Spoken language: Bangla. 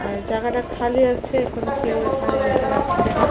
এ জাগাটা খালি আছে এখন কেউ এখানে দেখা যাচ্ছে না।